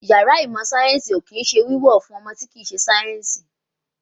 Yàrá ìmọ̀ sáyẹ̀nsì ò kín ń ṣe wíwọ̀ fún ọmọ tí ò kín ń ṣe sáyẹ̀nsì